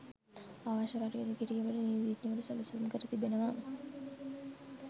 අවශ්‍ය කටයුතු කිරීමට නීතිඥවරු සැලසුම් කර තිබෙනවා.